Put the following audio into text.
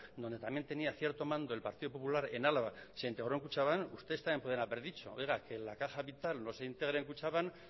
donde también tenía cierto mando el partido popular en álava se integró kutxabank ustedes también podrían haber dicho oiga que en la caja vital no se integre kutxabank